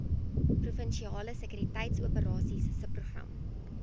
provinsiale sekuriteitsoperasies subprogram